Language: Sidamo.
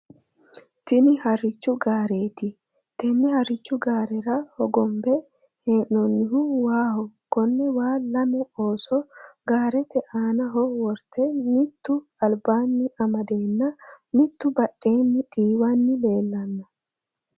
Tini harrichu gaareeti tenne harrichu gaarera hogombe hee'noonnihu waaho konne waa lame ooso gaarete aanaho worte mitti albanni amadeenna mittu badheenni xiiwanni leellanno.